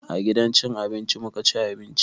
A gidan cin abinci muka ci abinci.